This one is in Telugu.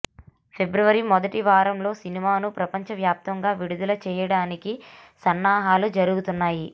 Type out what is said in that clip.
ఫిభ్రవరి మొదటి వారంలో సినిమాను ప్రపంచ వ్యాప్తంగా విడుదల చేయడానికి సన్నాహాలు జరుగుతున్నాయి